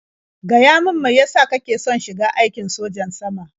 Gaya min mai ya sa kake son shiga aikin sojan sama?